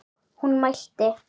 Hún mælti